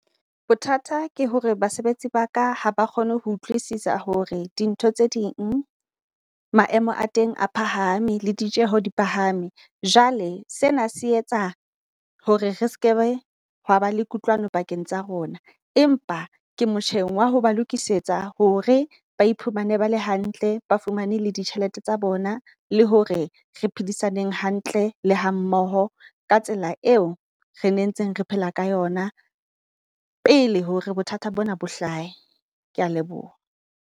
Bothata ke hore basebetsi ba ka ha ba kgone ho utlwisisa hore di ntho tse ding maemo a teng a phahame le ditjeho di phahame. Jwale sena se etsa hore re skebe hwa ba le kutlwano pakeng tsa rona, empa ke motjheng wa ho ba lokisetsa hore ba iphumane bala hantle. Ba fumane le di tjhelete tsa bona le ho hore re phedisaneng hantle le ha mmoho ka tsela eo re nentseng re phela ka yona, pele hore bothata bona bo hlahe. Kea leboha.